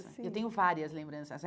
Eu tenho várias lembranças.